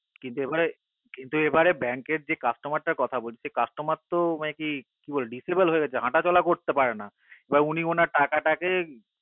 কিন্তু এবারে bank যে customer কথা বলছি customer একি disable হয়ে গেছে হাঁটা চলা করতে পারে না এবার উনি উনার টাকাটাকে